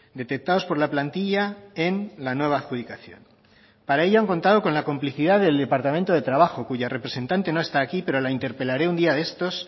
detectados por la plantilla en la nueva adjudicación para ello han contado con la complicidad del departamento de trabajo cuya representante no está aquí pero la interpelaré un día de estos